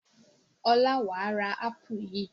Ọlá wà á ra ápù yìí!